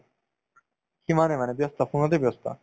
সিমানে মানে ব্যস্ত phone তে ব্যস্ত